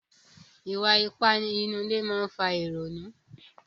Ìwà ipá nínú ilé máa ń fa ìrònú.